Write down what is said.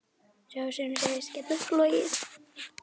Sá sem segist geta flogið